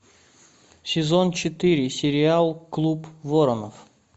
сезон четыре сериал клуб воронов